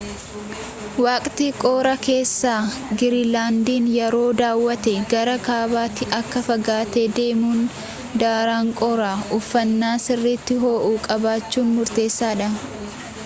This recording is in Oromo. waqtii qorraa keessa giriinlaandiin yoo daawatte gara kaabaatti akka fagaattee deemtuun daran qorra uffannaa sirriitti ho’u qabachuun murteessaadha